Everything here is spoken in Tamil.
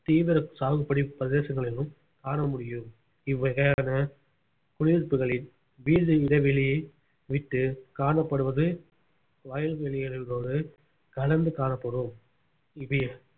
தீவிர சாகுபடி பிரதேசங்களிலும் காண முடியும் இவ்வகையான குடியிருப்புகளில் வீடு இடைவெளியை விட்டு காணப்படுவது வயல்வெளிகளோடு கலந்து காணப்படும் இது